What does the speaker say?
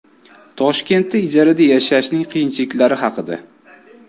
Toshkentda ijarada yashashning qiyinchiliklari haqida.